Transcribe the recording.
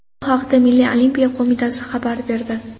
Bu haqda Milliy olimpiya qo‘mitasi xabar berdi.